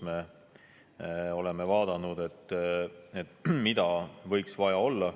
Me oleme vaadanud, mida võiks vaja olla.